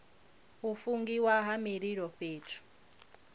u fungiwa ha mililo fhethu